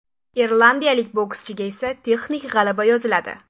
Irlandiyalik bokschiga esa texnik g‘alaba yoziladi.